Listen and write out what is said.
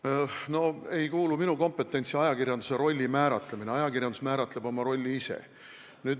Ajakirjanduse rolli määratlemine ei kuulu minu kompetentsi, ajakirjandus määratleb oma rolli ise.